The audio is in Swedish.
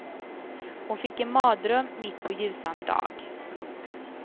Hon fick en mardröm mitt på ljusan dag. punkt